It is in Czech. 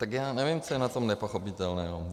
Tak já nevím, co je na tom nepochopitelného.